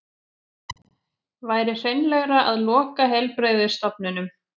Væri hreinlegra að loka heilbrigðisstofnunum